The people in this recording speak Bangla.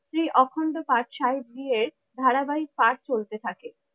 শ্রী অখণ্ড পাঠ শাহী দিয়ে ধারাবাহিক পাঠ চলতে থাকে।